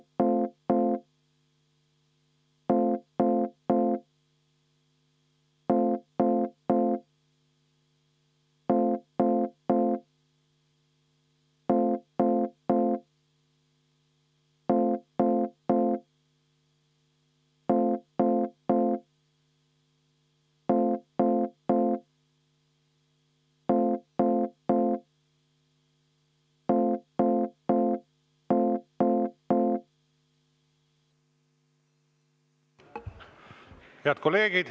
Head kolleegid!